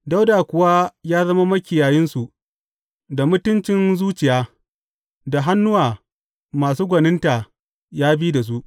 Dawuda kuwa ya zama makiyayinsu da mutuncin zuciya; da hannuwa masu gwaninta ya bi da su.